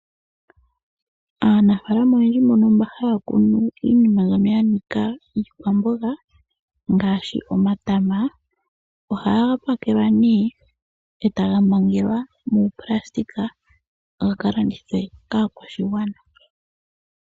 Aanafaalama oyendji mbono mba haya kunu iinima mbyono yanika iikwamboga ngaashi omatama, ohaga pakelwa nee etaga mangelwa muunayilona gaka landithwe kaakwashigwana,